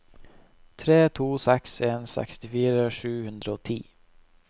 tre to seks en sekstifire sju hundre og ti